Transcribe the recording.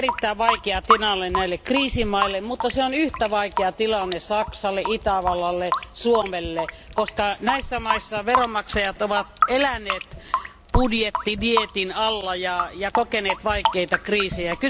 Tämä on erittäin vaikea tilanne näille kriisimaille, mutta se on yhtä vaikea tilanne Saksalle, Itävallalle ja Suomelle, koska näissä maissa veronmaksajat ovat eläneet budjettidieetin alla ja kokeneet vaikeita kriisejä.